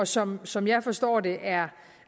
som som jeg forstår det er